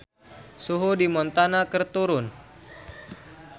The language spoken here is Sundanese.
Suhu di Montana keur turun